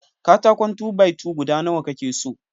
Katakon "2-by-2" guda Nawa ka ke so?